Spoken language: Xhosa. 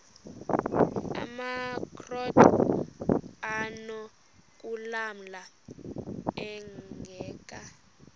amakrot anokulamla ingeka